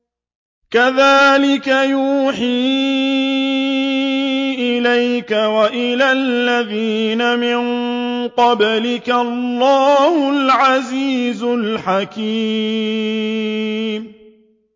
كَذَٰلِكَ يُوحِي إِلَيْكَ وَإِلَى الَّذِينَ مِن قَبْلِكَ اللَّهُ الْعَزِيزُ الْحَكِيمُ